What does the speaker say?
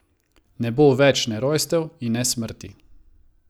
Ne bo več ne rojstev in ne smrti.